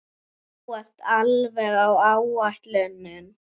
Þú ert alveg á áætlun.